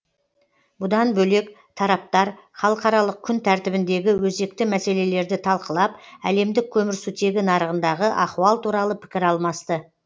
бұдан бөлек тараптар халықаралық күн тәртібіндегі өзекті мәселелерді талқылап әлемдік көмірсутегі нарығындағы ахуал туралы пікір алмасты